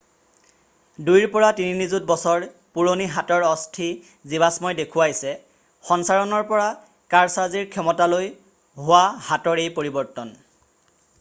দুইৰ পৰা তিনি নিযুত বছৰ পুৰণি হাতৰ অস্থি জীৱাশ্মই দেখুৱাইছে সঞ্চাৰণৰ পৰা কাৰছাজিৰ ক্ষমতালৈ হোৱা হাতৰ এই পৰিৱৰ্তন